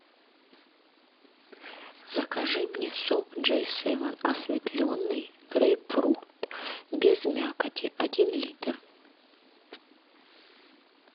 закажи мне сок джей севен осветленный грейпфрут без мякоти один литр